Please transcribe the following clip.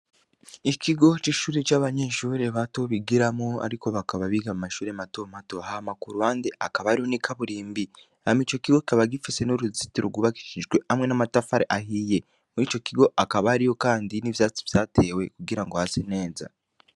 Ikigo c'ishuri c'abanyenshubure batobigiramo, ariko bakaba biga mu mashure matomato hamaku rwande akaba ariwo n'ikabura imbi hama ico kigo kaba gifise n'uruziti rugubakishijwe hamwe n'amatafare ahiye muri ico kigo akaba ari yo, kandi n'ivyatsi vyatewe kugira ngo hasi neza.